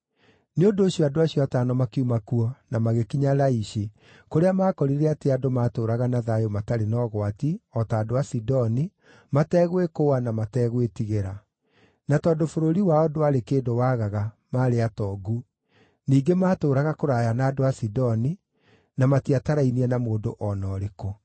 Nĩ ũndũ ũcio andũ acio atano makiuma kuo na magĩkinya Laishi, kũrĩa maakorire atĩ andũ maatũũraga na thayũ matarĩ na ũgwati, o ta andũ a Sidoni, mategwĩkũũa na mategwĩtigĩra. Na tondũ bũrũri wao ndwarĩ kĩndũ waagaga, maarĩ atongu. Ningĩ maatũũraga kũraya na andũ a Sidoni, na matiatarainie na mũndũ o na ũrĩkũ.